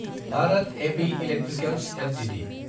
Bharat heavy electricals Ltd